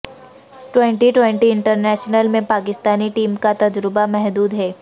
twenty twenty international میں Pakistani team کا تجربہ محدود ہے